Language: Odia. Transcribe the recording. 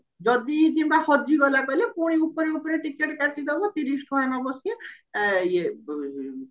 ଯଦି କିମ୍ବା ହଜିଗଲା କହିଲ ପୁଣି ଉପରେ ଉପରେ ଟିକେଟ କାଟିଦବ ତିରିଶ ଟଙ୍କା ନବ ସିଏ ଇଏ